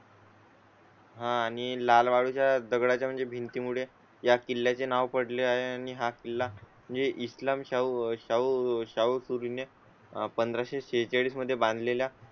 हां आणि लाल वाळू च्या दगडा ची म्हणजे भिंती मुळे या किल्ल्या चे नाव पडले आणि हा किल्ला म्हणजे इस्लाम शाहू. शाहू ने पंधराशे सहाचाळीस मध्ये बांध लेल्या